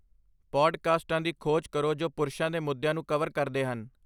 ਪੌਡਕਾਸਟਾਂ ਦੀ ਖੋਜ ਕਰੋ ਜੋ ਪੁਰਸ਼ਾਂ ਦੇ ਮੁੱਦਿਆਂ ਨੂੰ ਕਵਰ ਕਰਦੇ ਹਨ